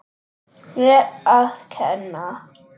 Mér að kenna!